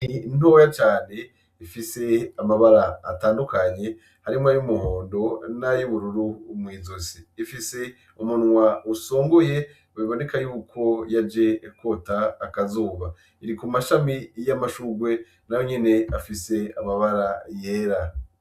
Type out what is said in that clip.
Inyoni ntoya cane ifise amabara atandukanye harimwo ay’umuhondo n’ayubururu mw’izosi , ifise umunwa usongoye biboneka yuko yaje kwota akazuba , iri ku mashami y’amashurwe nayo nyene afise amabara yera.